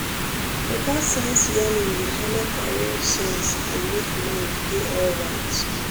better sense yarning dey helep arrange sense and make mind dey alright.